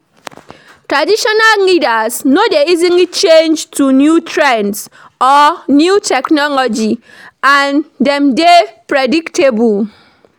Traditional leaders no dey easily change to new trends or new technology and dem de dey predictable